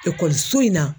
Ekɔliso in na